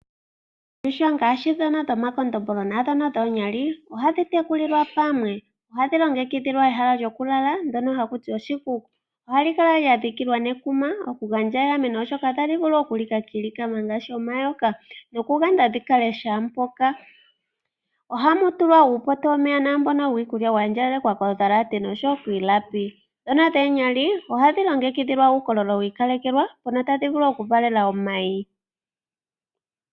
Oondjuhwa ngaashi ndhoka dhomakondombolo nosho wo ndhoka dhoonkadhindjuhwa ohadhi tekulilwa pamwe. Ohadhi longekidhilwa ehala lyokulala ndyono haku ti oshikuku. Ohali kala lya dhikilwa nekuma okugandja egameno, oshoka otadhi vulu okulika kiilikama ngaashi omayoka nokuyanda kaadhi kale shaa mpoka. Ohamu tulwa uupoto womeya naa mbono wiikulya wa andjagalalekwa kondhalate nosho wo kiilapi. Ndhono dhoonkadhindjuhwa ohadhi longekidhilwa uukololo wi ikalekelwa mpono tadhi vulu okuvalela omayi.